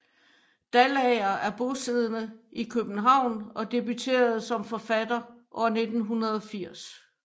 Dalager er bosiddende i København og debuterede som forfatter år 1980